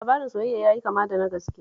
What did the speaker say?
Labarin soyayyar ya yi kama da na gaske